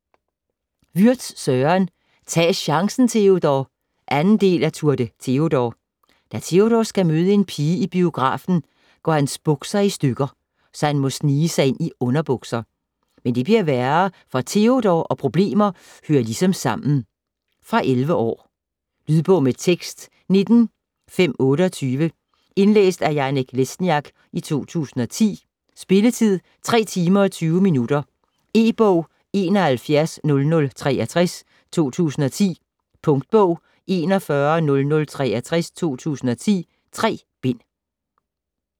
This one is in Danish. Würtz, Søren: Tag chancen, Teodor! 2. del af Tour de Teodor. Da Teodor skal møde en pige i biografen, går hans bukser i stykker, så han må snige sig ind i underbukser. Men det bliver værre, for Teodor og problemer hører ligesom sammen. Fra 11 år. Lydbog med tekst 19528 Indlæst af Janek Lesniak, 2010. Spilletid: 3 timer, 20 minutter. E-bog 710063 2010. Punktbog 410063 2010. 3 bind.